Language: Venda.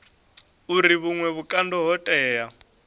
uri vhuṅwe vhukando ho tea